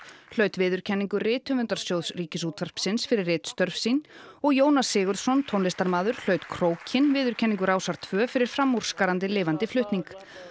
hlaut viðurkenningu rithöfundasjóðs Ríkisútvarpsins fyrir ritstörf sín og Jónas Sigurðsson tónlistarmaður hlaut krókinn viðurkenningu Rásar tveggja fyrir framúrskarandi lifandi flutning